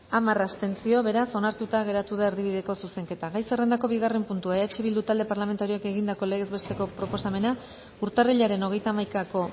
hamar abstentzio beraz onartuta geratu da erdibideko zuzenketa gai zerrendako bigarren puntua eh bildu talde parlamentarioak egindako legez besteko proposamena urtarrilaren hogeita hamaikako